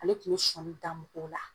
Ale tun be sɔɔni da n bɔ la